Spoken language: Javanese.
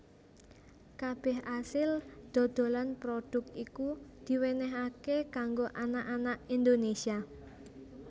Kabeh asil dodolan prodhuk iku diwenenhaké kanggo anak anak Indonésia